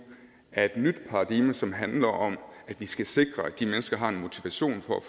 af et nyt paradigme som handler om at vi skal sikre at de mennesker har en motivation for